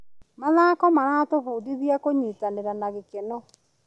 Mathako maratũbundithia kũnyitanĩra na gĩkeno.